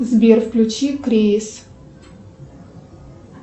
сбер включи крис